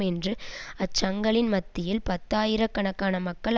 என்ற அச்சங்களின் மத்தியில் பத்தாயிர கணக்கான மக்கள்